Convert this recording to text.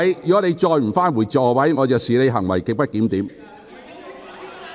如你仍不返回座位，我會視之為行為極不檢點。